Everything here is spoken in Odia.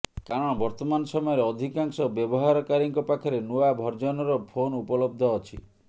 କାରଣ ବର୍ତ୍ତମାନ ସମୟରେ ଅଧିକାଂଶ ବ୍ୟବହାରକାରୀଙ୍କ ପାଖରେ ନୂଆ ଭର୍ଜନର ଫୋନ ଉପଲବ୍ଧ ଅଛି